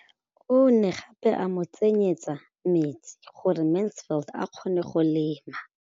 O ne gape a mo tsenyetsa metsi gore Mansfield a kgone go lema.